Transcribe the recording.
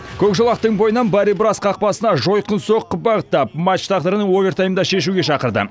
көк жолақтың бойынан бари браст қақпасына жойқын соққы бағыттап матч тағдырын овертаймда шешуге шақырды